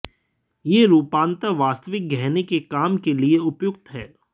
ये रूपांतर वास्तविक गहने के काम के लिए उपयुक्त हैं